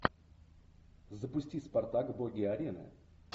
запусти спартак боги арены